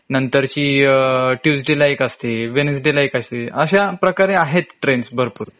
नंतरची अ tuesday ला एक असते wednesday ला एक असते.अश्या प्रकारे आहेत ट्रेन्स भरपूर